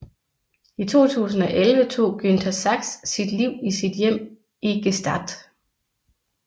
I 2011 tog Günter Sachs sit liv i sit hjem i Gstaad